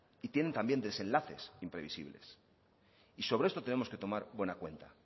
y tienen también desenlaces imprevisibles y sobre esto tenemos que tomar buena cuenta